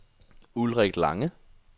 Ulrik Lange